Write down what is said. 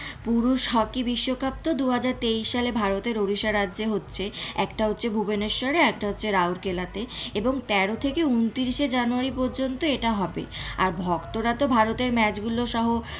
পুরুষ হকি বিশ্বকাপ তো দুহাজার তেইশ সালে ভারতের উড়িষ্যা রাজ্য হচ্ছে একটা হচ্ছে ভুবনেশ্বরে একটা হচ্ছে রাউর কেল্লা তে এবং তেরো থেকে ঊনত্রিশ জানুয়ারি পর্যন্ত এটা হবে আর ভক্তরা তো ভারতের match গুলো সহ,